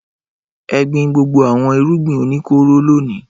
Ẹ gbin gbogbo àwọn irúgbìn oníkóró lónìí!